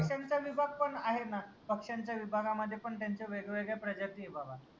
पक्ष्याचा विभाग पन आहे ना पक्ष्याच्या विभागामध्ये पन त्यांच्या वेगवेळ्या प्रजाती ए बाबा